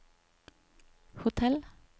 hotell